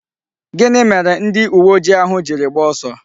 Gini mere ndi uwe ojii ahu jiri gbaa oso?